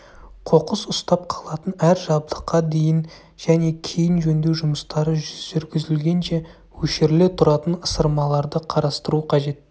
қоқыс ұстап қалатын әр жабдыққа дейін және кейін жөндеу жұмыстары жүргізілгенше өшіріле тұратын ысырмаларды қарастыру қажет